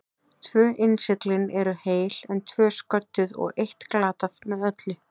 Tvö innsiglin eru heil, en tvö sködduð og eitt glatað með öllu.